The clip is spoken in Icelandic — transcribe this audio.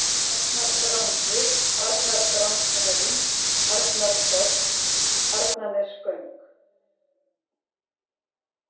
Arnardrangi, Arnardrangshraun, Arnarhvoll, Arnarnesgöng